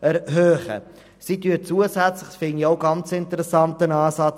Und was ganz interessant ist: